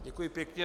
Děkuji pěkně.